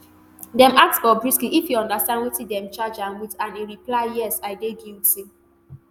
dem ask bobrisky if e understand wetin dem charge am wit and e reply yes i dey guilty